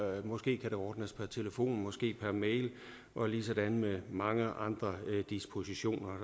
måske kan det ordnes per telefon måske per mail og ligesådan med mange andre dispositioner